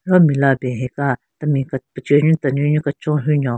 Ro mela ben hika temi ke pechenyu tenunyu kechon hyu nyon.